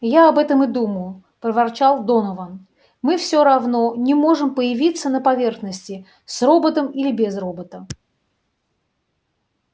я об этом и думаю проворчал донован мы всё равно не можем появиться на поверхности с роботом или без робота